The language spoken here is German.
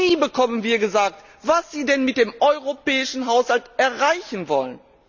Nie bekommen wir gesagt, was sie denn mit dem europäischen Haushalt erreichen wollen.